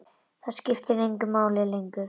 Það skipti engu máli lengur.